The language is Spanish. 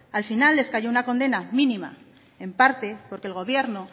al final les cayó una condena mínima en parte porque el gobierno